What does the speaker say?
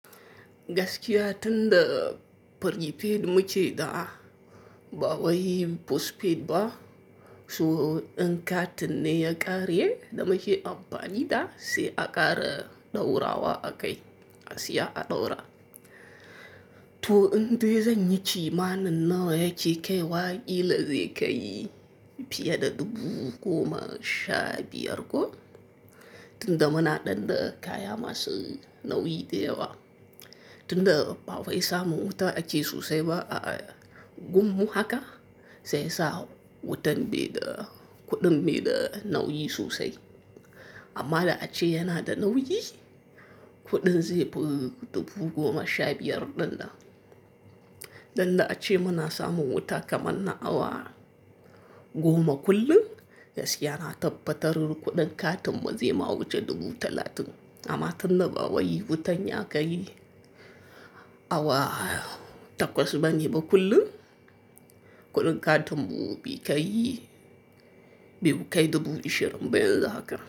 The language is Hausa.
Gaskiya tunda prepaid muce da ba waye postpaid ba, su wa in ka tinne ya karye da muce amfani da sai a ƙara ɗaura wa a kai asi ya a ɗaura. To in dai zan yi ci ma nan na wa ya ci kai wa kila zai kai fiye da dubu goma sha biyar ko tunda muna ɗanɗa kaya masu nauyi da yawa. Tunda ba waye samun wuta a ciki sosai ba a gummu haka sai sa wutan be da kuɗin be da nauyi sosai. Amma da aci yana da nauyi, kuɗin zai fi dubu goma sha biyar ɗanɗa. Dan da aci muna samun wuta kamar na awa goma kullum, gaskiya na tabbatarin kuɗin katinmu zai ma wuce dubu talatin. Amma tunda ba waye wutan ya kai awa takwas bane ba kullum, kuɗin katinmu bai kai, bai kai dubu ashirin ba yanzu haka.